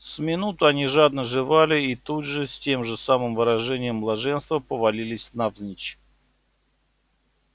с минуту они жадно жевали и тут же с тем же самым выражением блаженства повалились навзничь